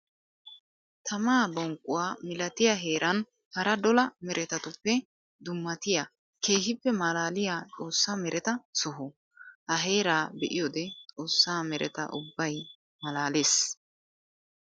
Tammaa bonqquwa milattiya heeran hara dolla meretattuppe dummattiya keehippe malaaliya xoosa meretta soho. Ha heera be'iyoode xoosa meretta ubbay malaales.